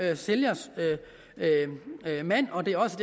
er sælgers mand og det er også